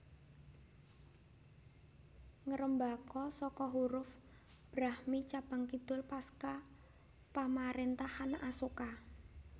Ngrembaka saka huruf Brahmi cabang kidul pasca pamaréntahan Asoka